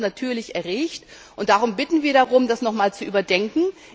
Das hat uns natürlich erregt, und darum bitten wir darum, das noch einmal zu bedenken.